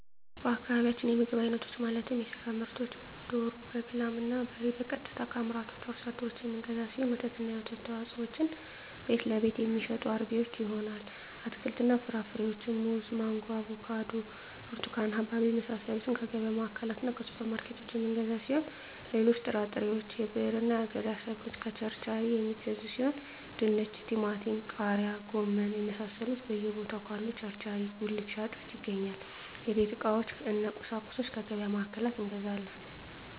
በአካባቢያችን የምግብ አይነቶች ማለትም የስጋ ምርቶችን ደሮ በግ ላም እና በሬ ቀጥታ ከአምራቹ አርሶ አደሮች የምንገዛው ሲሆን ወተትና የወተት ተዋፅኦዎችን ቤትለቤት የሚሸጡ አርቢዎች ይሆናል አትክልትና ፍራፍሬዎችን ሙዝ ማንጎ አቮካዶ ብርቱካን ሀባብ የመሳሰሉትከየገቢያ ማዕከላትእና ሱፐር ማርኬቶች የምንገዛ ሲሆን ሌሎች ጥራጥሬዎች የብዕርና የአገዳ ሰብሎችን ከቸርቻሪዎች የሚገዙ ሲሆን ድንች ቲማቲም ቃሪያ ጎመን የመሳሰሉት በየ ቦታው ካሉ ቸርቻሪ ጉልት ሻጮች ይገኛል የቤት ዕቃዎች እነ ቁሳቁሶች ከገቢያ ማዕከላት እንገዛለን